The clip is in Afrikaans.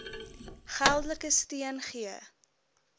geldelike steun gee